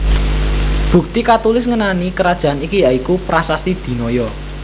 Bukti katulis ngenani karajan iki ya iku Prasasti Dinoyo